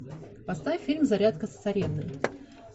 поставь фильм зарядка с царевной